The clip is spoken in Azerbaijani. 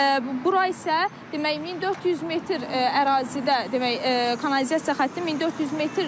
Bura isə demək 1400 metr ərazidə demək kanalizasiya xətti 1400 metrdir.